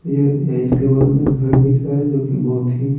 ये इसके बगल में घर दिख रहा है जो कि बहुत ही--